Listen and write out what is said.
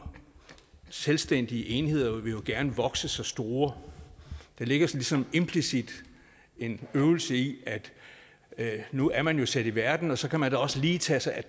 selvstændige enheder jo gerne vil vokse sig store der ligger ligesom implicit en øvelse i at nu er man sat i verden og så kan man da også lige tage sig af